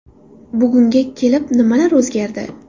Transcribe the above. Bugunga kelib nimalar o‘zgardi?